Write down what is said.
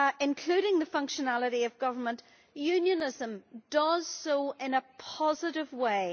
including the functionality of government, Unionism does so in a positive way.